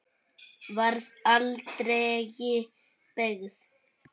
Varð aldregi beygð.